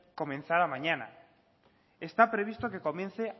comenzara mañana está previsto que comience